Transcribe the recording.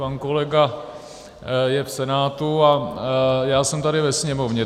Pan kolega je v Senátu a já jsem tady ve Sněmovně.